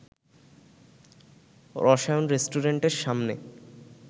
রসায়ন রেস্টুরেন্টের সামনে